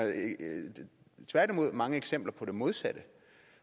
tværtimod mange eksempler på det modsatte